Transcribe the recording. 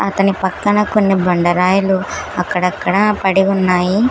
అతని పక్కన కొన్ని బండరాయిలు అక్కడక్కడా పడి ఉన్నాయి.